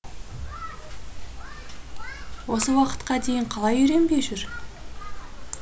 осы уақытқа дейін қалай үйренбей жүр